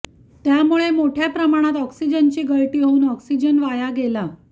त्यामुळे मोठ्या प्रमाणात ऑक्सिजनची गळती होऊन ऑक्सिजन वाया गेला